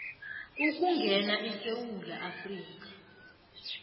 ukungena esewula afrika